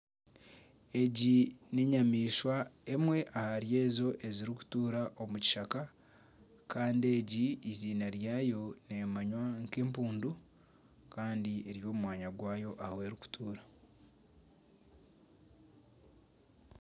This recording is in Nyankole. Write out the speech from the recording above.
Egi n'enyamaishwa emwe ahari ezo ezirikutuura omu kishaka kandi egi eiziina ryayo neemanywa nk'empundu kandi eri omu mwanya gwayo ahu erikutuura